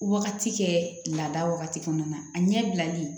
Wagati kɛ laada wagati kɔnɔna na a ɲɛ bilali